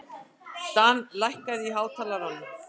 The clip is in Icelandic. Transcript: Dan, lækkaðu í hátalaranum.